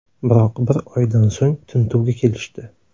Biroq bir oydan so‘ng tintuvga kelishdi.